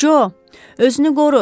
Co, özünü qoru!